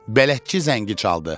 Bələdçi zəngi çaldı.